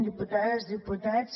diputades diputats